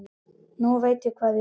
Nú veit ég hvað ég vil.